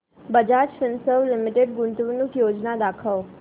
Bajaj Finserv limited गुंतवणूक योजना दाखव